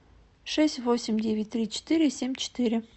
шесть восемь девять три четыре семь четыре